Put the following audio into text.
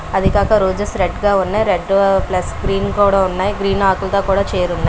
అవి కాక roses red గా సన్నాయి రెడ్ ప్లస్ గ్రీన్ కూడా ఉన్నాయి గ్రీన్ ఆకులతో కూడా చేరున్నాయి.